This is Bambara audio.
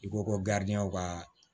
I ko ko ka